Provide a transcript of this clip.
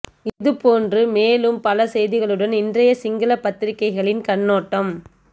இது போன்ற மேலும் பல செய்திகளுடன் இன்றைய சிங்கள பத்திரிகைகளின் கண்ணோட்டம்